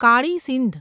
Kali Sindh